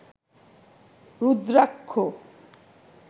rudraksha